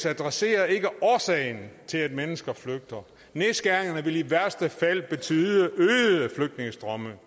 adresserer ikke årsagen til at mennesker flygter nedskæringerne vil i værste fald betyde øgede flygtningestrømme